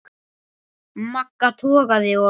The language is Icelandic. Magga togaði og